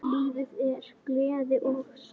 Lífið er gleði og sorg.